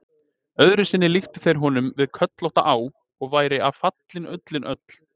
Öðru sinni líktu þeir honum við kollótta á, og væri af fallin ullin öll.